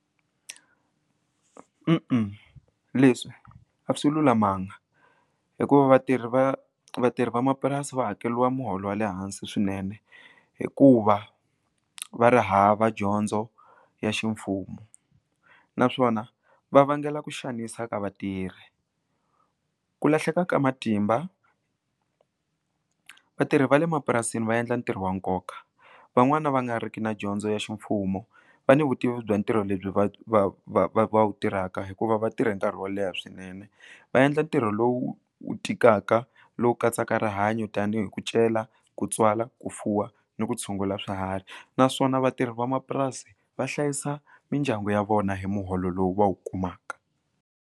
Leswi a swi lulamanga hikuva vatirhi va vatirhi vamapurasi va hakeliwa muholo wa le hansi swinene hikuva va ri hava dyondzo ya ximfumo naswona va vangela ku xanisa ka vatirhi ku lahleka ka matimba vatirhi va le mapurasini va endla ntirho wa nkoka van'wani va nga riki na dyondzo ya ximfumo va ni vutivi bya ntirho lebyi va va va va wu tirhaka hikuva vatirhe nkarhi wo leha swinene va endla ntirho lowu wu tikaka lowu katsaka rihanyo tanihi ku cela ku tswala ku fuwa ni ku tshungula swiharhi naswona vatirhi vamapurasi va hlayisa mindyangu ya vona hi muholo lowu va wu kumaka.